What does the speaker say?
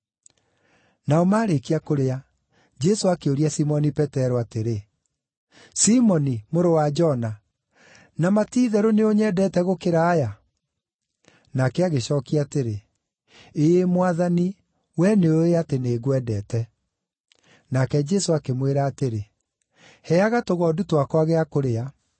Nao maarĩkia kũrĩa, Jesũ akĩũria Simoni Petero atĩrĩ, “Simoni mũrũ wa Jona, na ma ti-itherũ nĩũnyendete gũkĩra aya?” Nake agĩcookia atĩrĩ, “Ĩĩ Mwathani, wee nĩũũĩ atĩ nĩngwendete.” Nake Jesũ akĩmwĩra atĩrĩ, “Heaga tũgondu twakwa gĩa kũrĩa.”